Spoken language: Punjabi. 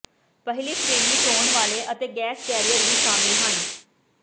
ਪਹਿਲੀ ਸ਼੍ਰੇਣੀ ਢੋਣ ਵਾਲੇ ਅਤੇ ਗੈਸ ਕੈਰੀਅਰ ਵੀ ਸ਼ਾਮਲ ਹਨ